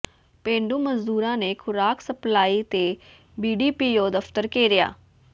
ਪੇਂਡੂ ਮਜ਼ਦੂਰਾਂ ਨੇ ਖੁਰਾਕ ਸਪਲਾਈ ਤੇ ਬੀਡੀਪੀਓ ਦਫ਼ਤਰ ਘੇਰਿਆ